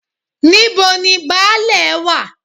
Níbo ni Baálẹ̀ wá?